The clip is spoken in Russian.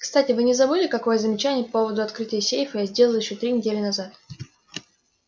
кстати вы не забыли какое замечание по поводу открытия сейфа я сделал ещё три недели назад